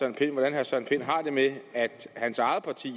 jeg har det med at hans eget parti